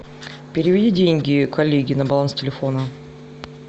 переведи деньги коллеге на баланс телефона